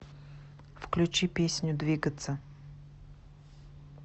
включи песню двигаться